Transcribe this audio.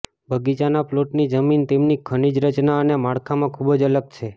બગીચાના પ્લોટની જમીન તેમની ખનિજ રચના અને માળખામાં ખૂબ જ અલગ છે